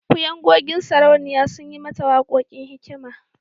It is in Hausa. Kuyangodin sauraniya sun yi mata wakakon hikma.